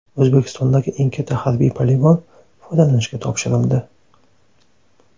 O‘zbekistondagi eng katta harbiy poligon foydalanishga topshirildi .